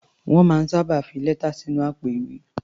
Wọ́n máa ń fi sábà lẹ́tà sínú àpò-ìwé.